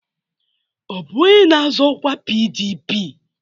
Ọ bụ onye na-azọ ọkwa PDP?